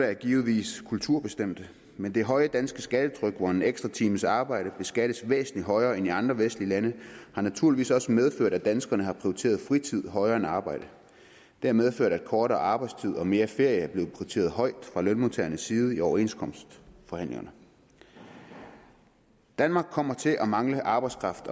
er givetvis kulturbestemte men det høje danske skattetryk hvor en ekstra times arbejde beskattes væsentlig højere end i andre vestlige lande har naturligvis også medført at danskerne har prioriteret fritiden højere end arbejdet det har medført at en kortere arbejdstid og mere ferie er blevet prioriteret højt fra lønmodtagernes side i overenskomstforhandlingerne danmark kommer til at mangle arbejdskraft